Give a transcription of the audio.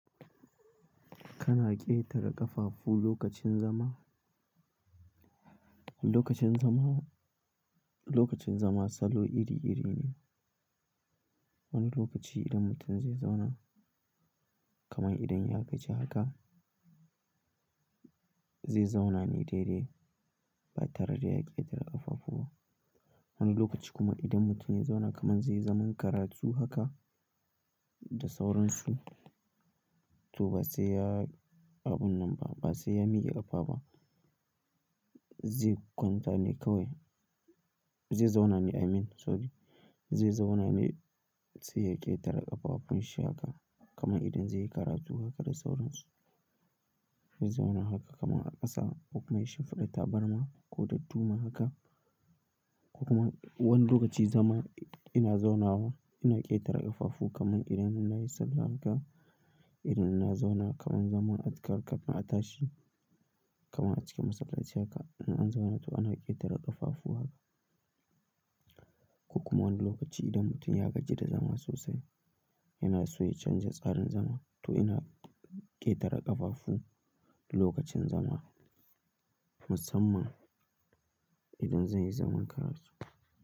Kana ƙetare ƙafafu lokacin zama? Lokacin zama, lokacin zama salo iri-iri ne. Wani lokaci idan mutum zai zauna kaman idan ya gaji haka, zai zauna ne daidai ba tare da ya ƙetare ƙafafu ba. Wani lokaci kuma idan mutum yana zauna kaman zai yi zaman karatu haka da sauransu, to ba sai ya abun nan ba, ba sai ya miƙe ƙafa ba. Zai kwanta ne kawai, zai zauna ne, I mean sorry, zai zauna ne sai ya ƙetare ƙafafun shi haka kaman idan zai yi karatu haka da sauransu. Zai zauna haka kaman a ƙasa ko kuma ya shafaɗa tabarma ko dadduma haka. Ko kuma wani lokaci zama ina zauna wa ina ƙetare ƙafafu kaman idan ina yin sallah haka, idan ina zauna kaman zaman atakar kafin a tashi kaman a cikin masallaci haka ina zauna to ina ƙetare ƙafafu haka. Ko kuma wani lokaci idan mutum ya gaji da zama sosai, yana so ya canja tsarin zama to yana ƙetare ƙafafu lokacin zama. Musamman idan zan yi zaman karatu.